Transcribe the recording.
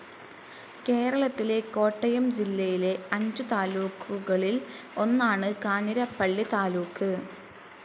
കേരളത്തിലെ കോട്ടയം ജില്ലയിലെ അഞ്ചു താലൂക്കുകളിൽ ഒന്നാണ് കാഞ്ഞിരപ്പള്ളി താലൂക്ക്.